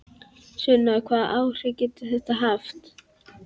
Sunna: Hvaða áhrif getur þetta haft?